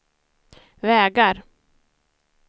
vägar